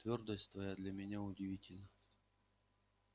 твёрдость твоя для меня удивительна